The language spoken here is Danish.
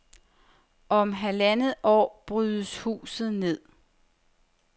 Om halvandet år brydes huset ned.